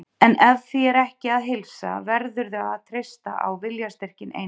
En ef því er ekki að heilsa verðurðu að treysta á viljastyrkinn einan.